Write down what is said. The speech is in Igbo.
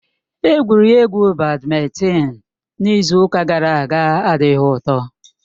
Egwuregwu badmịntịn n'izu ụka gara aga adịghị ụtọ.